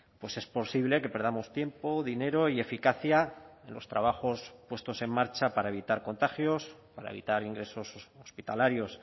pues es posible que perdamos tiempo dinero y eficacia en los trabajos puestos en marcha para evitar contagios para evitar ingresos hospitalarios